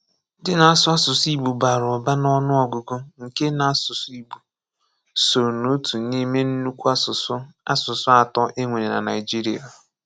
Ndị́ ná-àsụ̀ àsụsụ̀ Igbo bá̄rà ụ̀bà n’ọ́nụ́ọ̀gụ̀ nké ná àsụsụ̀ Igbo sọọ n’òtù n’ìmé ńnukwù àsụsụ̀ àsụsụ̀ atọ́ e nwere ná Naị́jíríà.